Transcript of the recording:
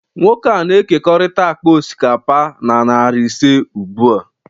Nwoke a na-ekekọrịta akpa osikapa na narị ise ugbu a